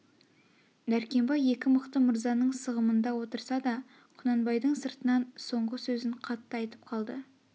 дәркембай екі мықты мырзаның сығымында отырса да құнанбайдың сыртынан соңғы сөзін қатты айтып қалды